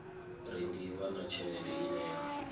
rengiwa na tshelede ine ya